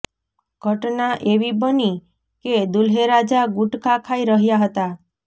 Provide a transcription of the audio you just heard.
ઘટના એવી બની કે દુલ્હેરાજા ગુટખા ખાઈ રહ્યા હતા